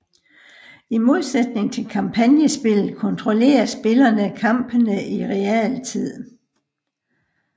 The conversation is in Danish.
I modsætning til kampagnespilet kontrollerer spillerne kampene i realtid